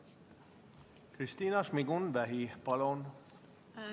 Kristina Šmigun-Vähi, palun!